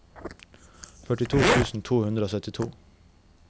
førtito tusen to hundre og syttito